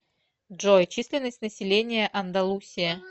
джой численность населения андалусия